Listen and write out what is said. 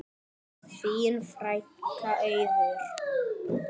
Þín frænka, Auður.